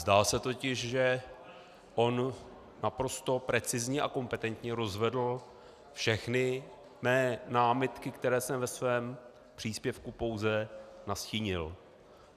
Zdá se totiž, že on naprosto precizně a kompetentně rozvedl všechny mé námitky, které jsem ve svém příspěvku pouze nastínil.